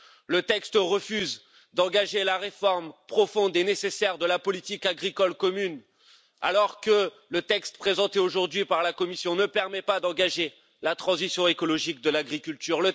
Le texte refuse d'engager la réforme profonde et nécessaire de la politique agricole commune, alors que le texte présenté aujourd'hui par la Commission ne permet pas d'engager la transition écologique de l'agriculture.